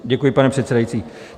Děkuji, pane předsedající.